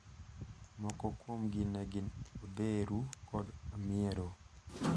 Moko kuomgi ne gin odheru kod hamiero.